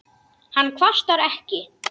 Hann kvartar ekki.